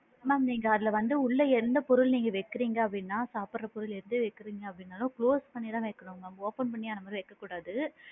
Ma'am நீங்க அதுல வந்து உள்ள எந்த பொருள் நீங்க வைக்கிறிங்க அப்படின்னா சாப்பிடுற பொருள் எது வைக்கிரிங்க அப்படின்னாலும் close பண்ணி தான் வைக்கணும் mam open பண்ணி அந்த மாதிரி வைக்க கூடாது.